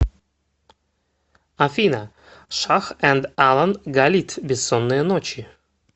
афина шах энд алан галит бессонные ночи